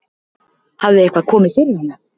Hafði eitthvað komið fyrir hana?